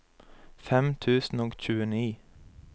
fem tusen og tjueni